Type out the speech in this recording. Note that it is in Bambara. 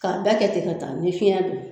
K'a bɛɛ kɛ ten ka taa ni fiɲɛ don